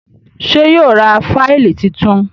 ṣe yíò rá Fáìlì títún?